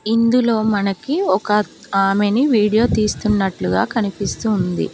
ఇందులో మనకి ఒక ఆమెని వీడియో తీస్తున్నట్లుగా కనిపిస్తుంది.